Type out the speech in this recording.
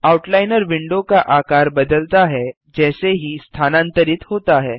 outliner window का आकार बदलता है जैसे ही स्थानांतरित होता है